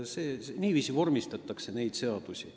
Niiviisi vormistataksegi teatud sätteid.